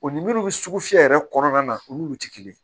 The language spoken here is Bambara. O ni minnu bɛ sugu fiyɛ yɛrɛ kɔnɔna na olu tɛ kelen ye